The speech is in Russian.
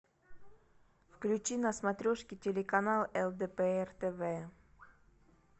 включи на смотрешке телеканал лдпр тв